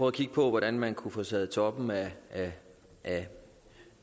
at kigge på hvordan man kunne tage toppen af af